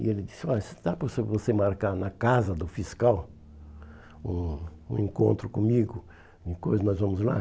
E ele disse, olha, se dá para você você marcar na casa do fiscal um encontro comigo, depois nós vamos lá?